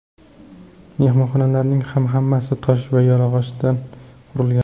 Mehmonxonalarning ham hammasi tosh va yog‘ochdan qurilgan.